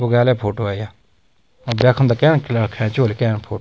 बुग्याल photo है या अ ब्याखुंदा कैन खैची होली कैन फोटु ।